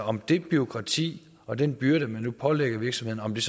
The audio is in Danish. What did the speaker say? om det bureaukrati og den byrde man nu pålægger virksomhederne